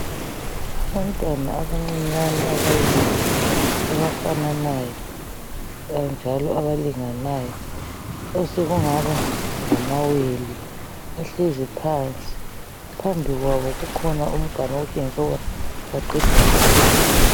Abantwana abancinyane ababili abafananayo njalo abalinganayo osekungaba ngamawele bahlezi phansi phambi kwabo kukhona umganu okutshengisa ukuba baqeda kudla.